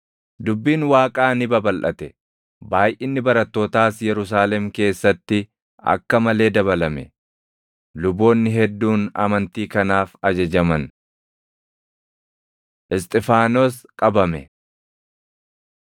Dubbiin Waaqaa ni babalʼate; baayʼinni barattootaas Yerusaalem keessatti akka malee dabalame; luboonni hedduun amantii kanaaf ajajaman. Isxifaanos Qabame